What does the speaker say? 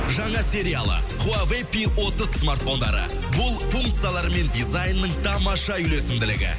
жаңа сериалы хуавей пи отыз смартфондары бұл функциялар мен дизайнның тамаша үйлесімділігі